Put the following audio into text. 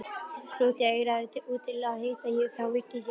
Krúttið eigraði út til að hitta þá og virtist leiðast.